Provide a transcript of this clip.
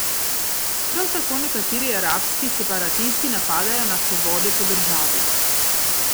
Prav tako nekateri arabski separatisti napadajo naftovode po državi.